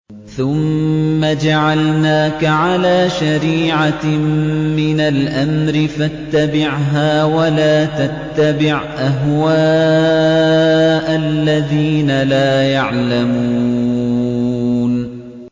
ثُمَّ جَعَلْنَاكَ عَلَىٰ شَرِيعَةٍ مِّنَ الْأَمْرِ فَاتَّبِعْهَا وَلَا تَتَّبِعْ أَهْوَاءَ الَّذِينَ لَا يَعْلَمُونَ